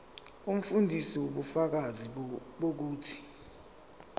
umfundisi ubufakazi bokuthi